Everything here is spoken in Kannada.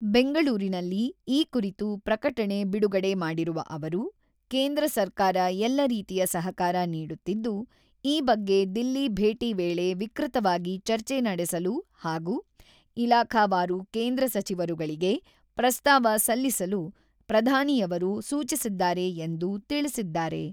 ಬೆಂಗಳೂರಿನಲ್ಲಿ ಈ ಕುರಿತು ಪ್ರಕಟಣೆ ಬಿಡುಗಡೆ ಮಾಡಿರುವ ಅವರು, ಕೇಂದ್ರ ಸರ್ಕಾರ ಎಲ್ಲ ರೀತಿಯ ಸಹಕಾರ ನೀಡುತ್ತಿದ್ದು, ಈ ಬಗ್ಗೆ ದಿಲ್ಲಿ ಭೇಟಿ ವೇಳೆ ವಿಕೃತವಾಗಿ ಚರ್ಚೆ ನಡೆಸಲು ಹಾಗೂ ಇಲಾಖಾವಾರು ಕೇಂದ್ರ ಸಚಿವರುಗಳಿಗೆ ಪ್ರಸ್ತಾವ ಸಲ್ಲಿಸಲು ಪ್ರಧಾನಿಯವರು ಸೂಚಿಸಿದ್ದಾರೆ ಎಂದು ತಿಳಿಸಿದ್ದಾರೆ.